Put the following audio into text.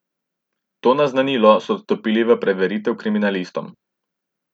To naznanilo so odstopili v preveritev kriminalistom.